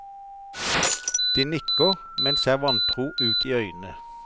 De nikker, men ser vantro ut i øynene.